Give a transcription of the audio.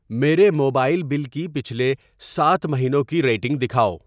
میرے mobile bill کی پچھلے سات مہینوں کی ریڈنگ دکھاؤ۔